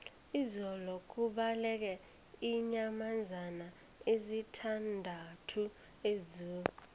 izolo kubaleke iinyamazana ezisithandathu ezoo